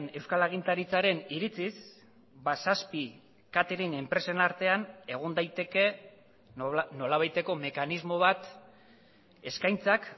euskal agintaritzaren iritziz zazpi catering enpresen artean egon daiteke nolabaiteko mekanismo bat eskaintzak